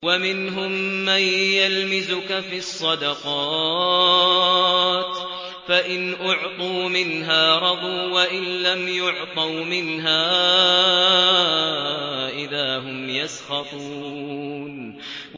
وَمِنْهُم مَّن يَلْمِزُكَ فِي الصَّدَقَاتِ فَإِنْ أُعْطُوا مِنْهَا رَضُوا وَإِن لَّمْ يُعْطَوْا مِنْهَا إِذَا هُمْ يَسْخَطُونَ